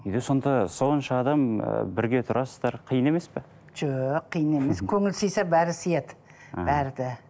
үйде сонда сонша адам ыыы бірге тұрасыздар қиын емес пе жоқ қиын емес көңіл сыйса бәрі сияды бәрі де